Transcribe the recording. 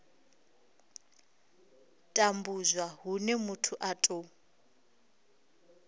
tambudzwa hune muthu a tou